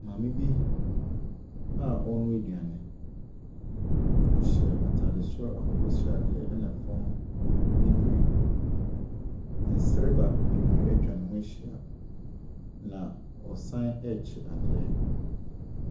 Maame bi a ɔrenoa aduane. Ɔhyɛ ataare soro akokɔsradeɛ na fam bibire. Nserba bebree atwa ne ho ahyia na ɔsan ɛrekye adeɛ.